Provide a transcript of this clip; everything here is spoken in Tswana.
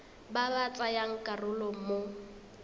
ba ba tsayang karolo mo